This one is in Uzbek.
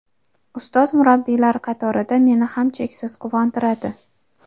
ustoz-murabbiylar qatorida meni ham cheksiz quvontiradi.